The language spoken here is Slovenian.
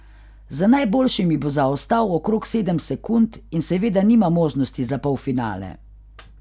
Za najboljšimi bo zaostal okrog sedem sekund in seveda nima možnosti za polfinale.